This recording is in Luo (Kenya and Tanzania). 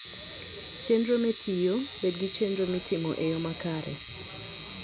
Chenro Metiyo: Bed gi chenro mitimo e yo makare.